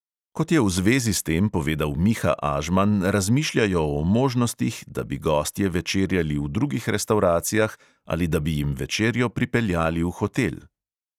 Kot je v zvezi s tem povedal miha ažman, razmišljajo o možnostih, da bi gostje večerjali v drugih restavracijah ali da bi jim večerjo pripeljali v hotel.